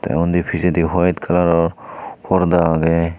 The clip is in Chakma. tey undi pijendi howyte colour or porda agey.